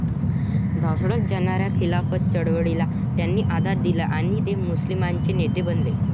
ढासळत जाणाऱ्या खिलाफत चळवळीला त्यांनीं आधार दिला आणि ते मुस्लिमांचे नेते बनले.